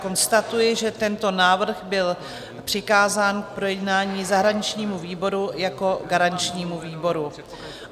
Konstatuji, že tento návrh byl přikázán k projednání zahraničnímu výboru jako garančnímu výboru.